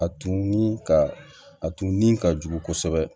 A tun ni ka a tun ni ka jugu kosɛbɛ